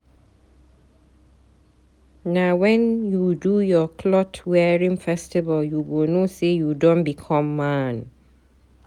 Na wen you do your clot wearing festival you go know say you don become man.